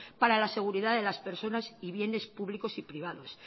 para la seguridad de las personas y bienes públicos y privados